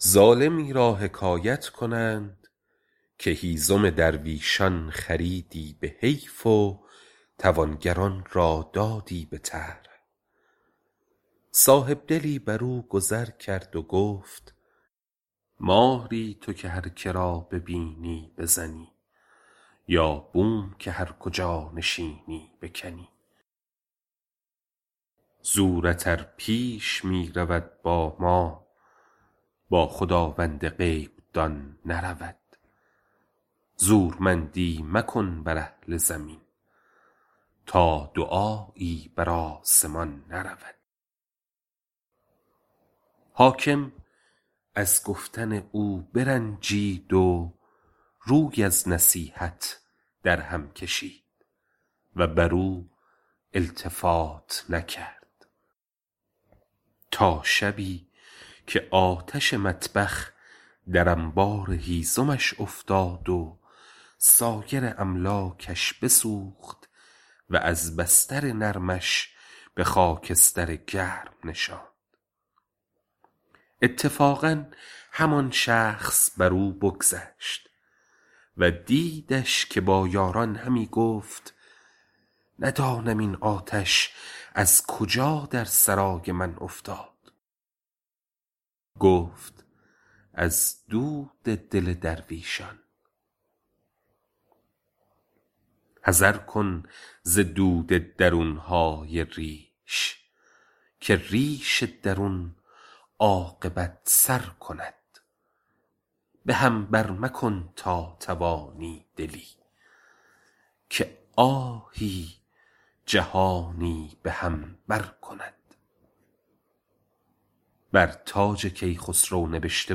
ظالمی را حکایت کنند که هیزم درویشان خریدی به حیف و توانگران را دادی به طرح صاحبدلی بر او گذر کرد و گفت ماری تو که هر که را ببینی بزنی یا بوم که هر کجا نشینی بکنی زورت ار پیش می رود با ما با خداوند غیب دان نرود زورمندی مکن بر اهل زمین تا دعایی بر آسمان نرود حاکم از گفتن او برنجید و روی از نصیحت او در هم کشید و بر او التفات نکرد تا شبی که آتش مطبخ در انبار هیزمش افتاد و سایر املاکش بسوخت وز بستر نرمش به خاکستر گرم نشاند اتفاقا همان شخص بر او بگذشت و دیدش که با یاران همی گفت ندانم این آتش از کجا در سرای من افتاد گفت از دل درویشان حذر کن ز درد درون های ریش که ریش درون عاقبت سر کند به هم بر مکن تا توانی دلی که آهی جهانی به هم بر کند بر تاج کیخسرو نبشته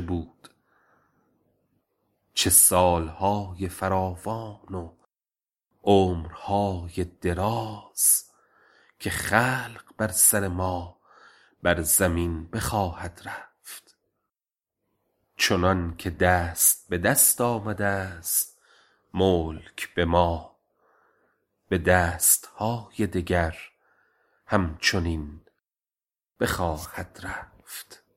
بود چه سال های فراوان و عمر های دراز که خلق بر سر ما بر زمین بخواهد رفت چنان که دست به دست آمده ست ملک به ما به دست های دگر هم چنین بخواهد رفت